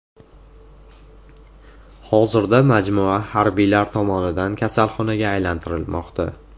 Hozirda majmua harbiylar tomonidan kasalxonaga aylantirilmoqda.